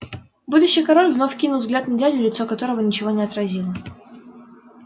будущий король вновь кинул взгляд на дядю лицо которого ничего не отразило